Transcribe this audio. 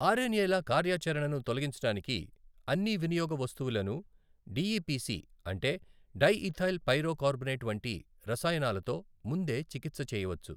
Are N ఏల కార్యాచరణను తొలగించడానికి అన్ని వినియోగ వస్తువులను డిఇపిసి అంటే డైఈథైల్ పైరో కార్బోనేట్ వంటి రసాయనాలతో ముందే చికిత్స చేయవచ్చు.